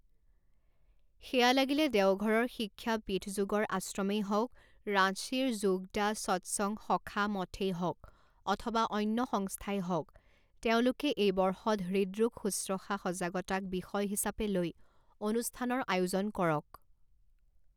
সেয়া লাগিলে দেওঘৰৰ সিখ্যা পীঠযোগৰ আশ্ৰমেই হওক, ৰাঁচীৰ যোগদা সৎসংগ সখা মঠেই হওক অথবা অন্য সংস্থাই হওক তেওঁলোকে এই বৰ্ষত হৃদৰোগ শুশ্ৰূষা সজাগতাক বিষয় হিচাপে লৈ অনুষ্ঠানৰ আয়োজন কৰক।